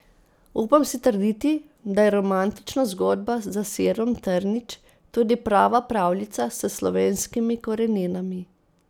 Upam si trditi, da je romantična zgodba za sirom trnič tudi prava pravljica s slovenskimi koreninami.